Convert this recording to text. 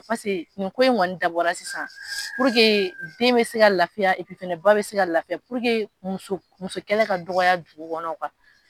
Pase nin ko in kɔni dabɔra sisan den bɛ se ka lafiya fɛnɛ ba bɛ se ka lafiya muso musokɛla ka dɔgɔya dugu kɔnɔ